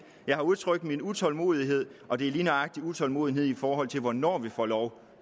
jeg har udtrykt min utålmodighed og det er lige nøjagtig en utålmodighed i forhold til hvornår vi får lov